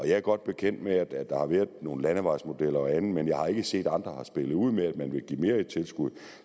jeg er godt bekendt med at der har været nogle landevejsmodeller og andet men jeg har ikke set at andre har spillet ud med at man vil give mere i tilskud